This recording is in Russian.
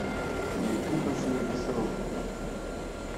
найти последний срок